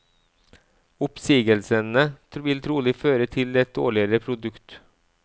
Oppsigelsene vil trolig føre til et dårligere produkt.